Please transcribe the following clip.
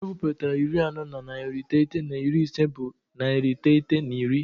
Ewepụta iri anọ na narị iteghete na iri ise bụ narị iteghete na iri.